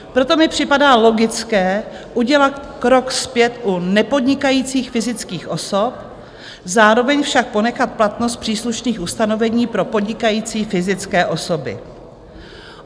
Proto mi připadá logické udělat krok zpět u nepodnikajících fyzických osob, zároveň však ponechat platnost příslušných ustanovení pro podnikající fyzické osoby.